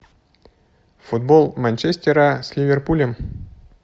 футбол манчестера с ливерпулем